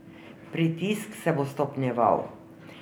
Pritisk se bo stopnjeval.